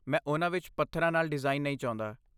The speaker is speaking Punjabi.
ਮੈਂ ਉਨ੍ਹਾਂ ਵਿੱਚ ਪੱਥਰਾਂ ਨਾਲ ਡਿਜ਼ਾਈਨ ਨਹੀਂ ਚਾਹੁੰਦਾ।